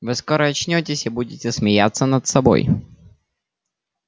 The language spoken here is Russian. вы скоро очнётесь и будете смеяться над собой